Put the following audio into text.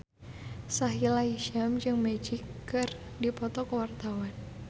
Sahila Hisyam jeung Magic keur dipoto ku wartawan